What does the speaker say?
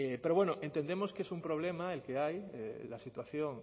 pero bueno entendemos que es un problema el que hay la situación